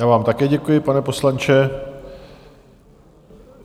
Já vám také děkuji, pane poslanče.